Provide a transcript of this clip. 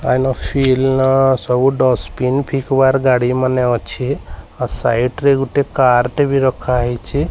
ସବୁ ଡସବିନ୍ ଫିକ୍ବାର୍ ଗାଡ଼ିମାନେ ଅଛେ ଆଉ ସାଇଟ୍ ରେ ଗୁଟେ କାର୍ ଟେ ବି ରଖାହେଇଚି।